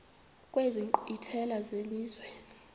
kwezi nkqwithela zelizwe